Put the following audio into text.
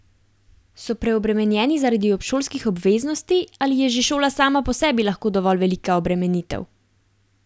So preobremenjeni zaradi obšolskih obveznosti ali je že šola sama po sebi lahko dovolj velika obremenitev?